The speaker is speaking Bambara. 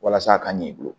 Walasa a ka ɲɛ i bolo